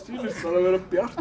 vera bjart